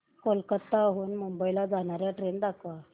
कोलकाता हून मुंबई ला जाणार्या ट्रेन दाखवा